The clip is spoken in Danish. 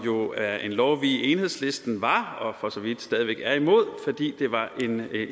er en lov vi i enhedslisten var og for så vidt stadig væk er imod fordi det var